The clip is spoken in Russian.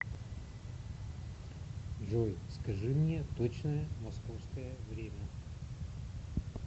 джой скажи мне точное московское время